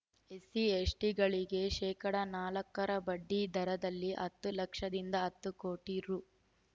SC ಎಸ್‌ಟಿಗಳಿಗೆ ಶೇಕಡಾ ನಾಲ್ಕರ ಬಡ್ಡಿ ದರದಲ್ಲಿ ಹತ್ತು ಲಕ್ಷದಿಂದ ಹತ್ತು ಕೋಟಿ ರು